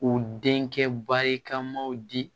U denkɛ barikamaw di